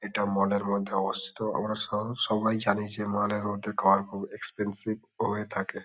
এটা মল -এর মধ্যে অবস্থিত আমরা সাহ সবাই জানে যে মালের মধ্যে কার খুব এক্সপেন্সিভ হয়ে থাকে।